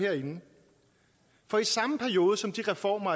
for i samme periode som de reformer